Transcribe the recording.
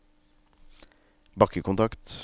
bakkekontakt